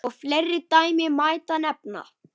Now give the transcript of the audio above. Og fleiri dæmi mætti nefna.